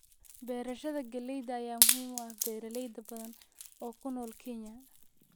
Beerashada galleyda ayaa muhiim u ah beeraley badan oo ku nool Kenya.